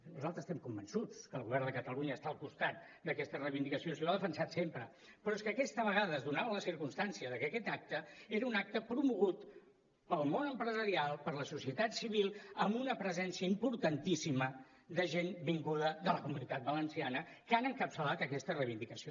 nosaltres estem convençuts que el govern de catalunya està al costat d’aquesta reivindicació si ho ha defensat sempre però és que aquesta vegada es donava la circumstància que aquest acte era un acte promogut pel món empresarial per la societat civil amb una presència importantíssima de gent vinguda de la comunitat valenciana que han encapçalat aquesta reivindicació